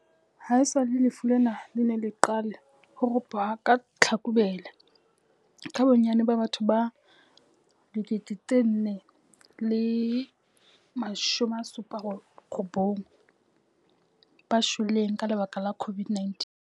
Haesale lefu lena le ne le qale ho ropoha ka Tlhakubele, ke bonnyane ba batho ba 4 079 ba shweleng ka lebaka la COVID-19.